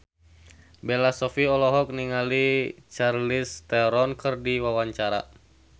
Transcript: Bella Shofie olohok ningali Charlize Theron keur diwawancara